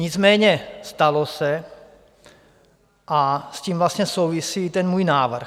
Nicméně stalo se a s tím vlastně souvisí i můj návrh.